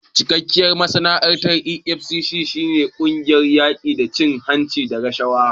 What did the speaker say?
Cikakkiyar ma'anar EFCC shi ne "Ƙungiyar yaƙi da cin hanci da rashawa".